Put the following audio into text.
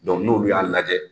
n'olu y'a lajɛ,